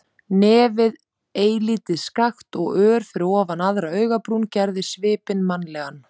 Nefið eilítið skakkt og ör fyrir ofan aðra augabrún, gerði svipinn mannlegan.